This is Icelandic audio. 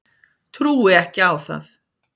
Trúi ekki á það.